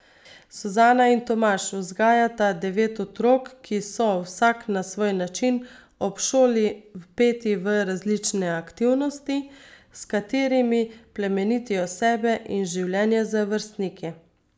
Suzana in Tomaž vzgajata devet otrok, ki so, vsak na svoj način, ob šoli, vpeti v različne aktivnosti, s katerimi plemenitijo sebe in življenje z vrstniki.